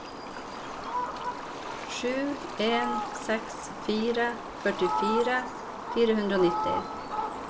sju en seks fire førtifire fire hundre og nitti